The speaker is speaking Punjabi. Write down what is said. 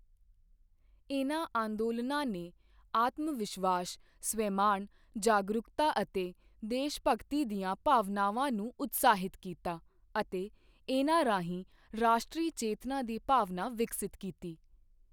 ਇਨ੍ਹਾਂ ਅੰਦੋਲਨਾਂ ਨੇ ਆਤਮ ਵਿਸ਼ਵਾਸ ਸਵੈਮਾਣ ਜਾਗਰੂਕਤਾ ਅਤੇ ਦੇਸ਼ਭਗਤੀ ਦੀਆਂ ਭਾਵਨਾਵਾਂ ਨੂੰ ਉਤਸ਼ਾਹਿਤ ਕੀਤਾ ਅਤੇ ਇਨ੍ਹਾਂ ਰਾਹੀਂ ਰਾਸ਼ਟਰੀ ਚੇਤਨਾ ਦੀ ਭਾਵਨਾ ਵਿਕਸਤ ਕੀਤੀ।